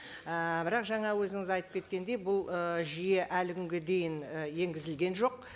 ііі бірақ жаңа өзіңіз айтып кеткендей бұл ы жүйе әлі күнге дейін і енгізілген жоқ